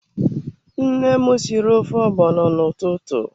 Nne m sịrị ofe ogbono n'ụtụtụ.